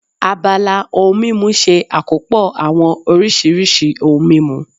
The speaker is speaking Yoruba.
Abala ohun mímu ṣe àkópọ̀ àwọn oríṣiríṣi ohun mímu